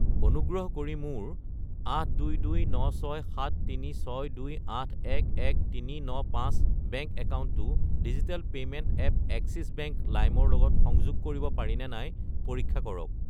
অনুগ্ৰহ কৰি মোৰ 822967362811395 বেংক একাউণ্টটো digital payment app Axis bank Lime ৰ লগত সংযোগ কৰিব পাৰিনে নাই পৰীক্ষা কৰক।